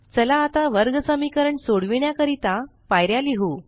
चला आता वर्गसमीकरण सोडविण्या करीता पायऱ्या लिहु